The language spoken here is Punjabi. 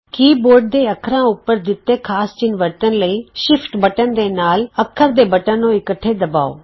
ਕੀ ਬੋਰਡ ਦੇ ਅੱਖਰਾਂ ਉਪਰ ਦਿੱਤੇ ਖਾਸ ਚਿੰਨ੍ਹ ਵਰਤਣ ਲਈ ਸ਼ਿਫਟ ਬਟਨ ਦੇ ਨਾਲ ਅੱਖਰ ਦੇ ਬਟਨ ਨੂੰ ਇਕੱਠੇ ਦਬਾਉ